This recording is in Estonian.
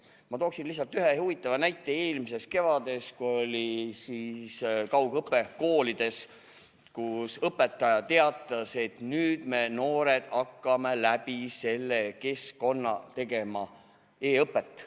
Ma tooksin lihtsalt ühe huvitava näite eelmisest kevadest, kui oli koolides kaugõpe, kui õpetaja teatas, et nüüd me, noored, hakkame läbi selle keskkonna tegema e-õpet.